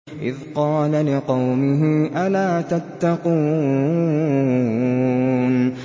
إِذْ قَالَ لِقَوْمِهِ أَلَا تَتَّقُونَ